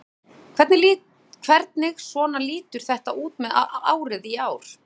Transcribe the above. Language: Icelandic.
Gunnar: Hvernig svona lítur þetta út með árið í ár?